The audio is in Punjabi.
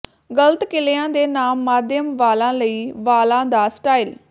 ਗਲਤ ਕਿਲ੍ਹਿਆਂ ਦੇ ਨਾਲ ਮਾਧਿਅਮ ਵਾਲਾਂ ਲਈ ਵਾਲਾਂ ਦਾ ਸਟਾਈਲ